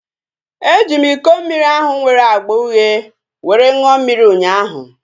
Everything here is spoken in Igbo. E ji m iko mmiri ahu nwere agba uhie were ṅụọ mmiri ụnyaahụ